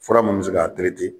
Fura mun bɛ se k'a .